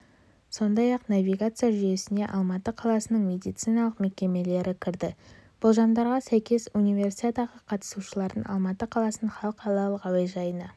сондай-ақ навигация жүйесіне алматы қаласының медициналық мекемелері кірді болжамдарға сәйкес универсиадаға қатысушылардың алматы қаласының халықаралық әуежайына